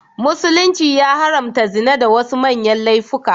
Musulunci ya haramta zina da wasu manyan laifuka.